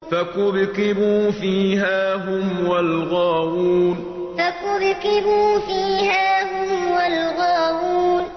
فَكُبْكِبُوا فِيهَا هُمْ وَالْغَاوُونَ فَكُبْكِبُوا فِيهَا هُمْ وَالْغَاوُونَ